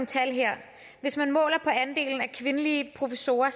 tal her hvis man måler på andelen af kvindelige professorer